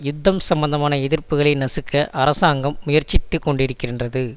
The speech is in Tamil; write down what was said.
யுத்தம் சம்பந்தமான எதிர்ப்புகளை நசுக்க அரசாங்கம் முயற்சித்துக்கொண்டிருக்கின்றது